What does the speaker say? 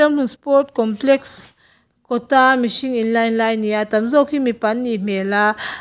ramhlun sport complexes kawt a mihring in line lai ani a tam zawk hi mipa an nih hmel a.